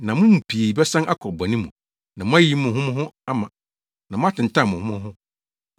na mo mu pii bɛsan akɔ bɔne mu, na moayiyi mo ho mo ho ama, na moatentan mo ho mo ho.